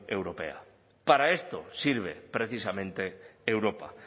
europea para esto sirve precisamente europa